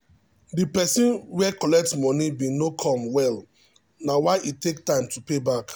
the person were collect moni bin no come well na why e take time to payback